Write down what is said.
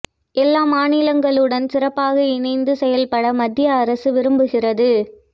எல்லா மாநிலங்களுடனும் சிறப்பாக இணைந்து செயல்பட மத்திய அரசு விரும்புகிறது